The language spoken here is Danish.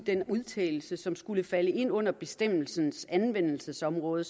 den udtalelse som skulle falde ind under bestemmelsens anvendelsesområde